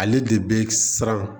Ale de bɛ siran